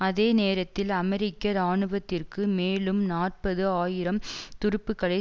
அதே நேரத்தில் அமெரிக்க இராணுவத்திற்கு மேலும் நாற்பது ஆயிரம் துருப்புக்களை